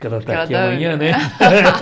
Porque ela está aqui amanhã, né?